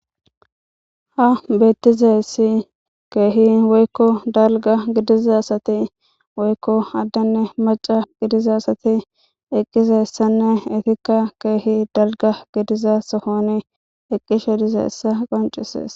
Ha beettizeyssi keehi woykko dalga gidizasati woykko addanne maca gidizasati eqqizeyssanne itikka keehi dalga gidiza sohoni eqqishe dizeessa qoncisees.